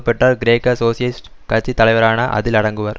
பெற்றார் கிரேக்க சோசியலிஸ்ட் கட்சியின் தலைவரான அதில் அடங்குவர்